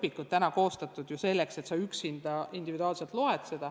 Praegused õpikud ei ole koostatud ju selleks, et sa neid üksinda, individuaalselt loeksid.